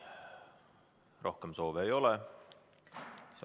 Rohkem soove ei ole.